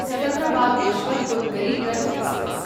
Secunderabad Yesvantpur Garib Rath express